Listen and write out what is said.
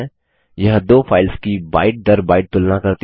यह दो फाइल्स की बाइट दर बाइट तुलना करती है